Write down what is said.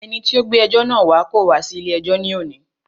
Ẹni tí o gbé ẹjọ́ náà wá kò wá sí ilé ẹjọ́ ní òní.